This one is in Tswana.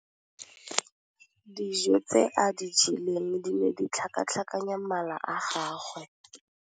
Dijô tse a di jeleng di ne di tlhakatlhakanya mala a gagwe.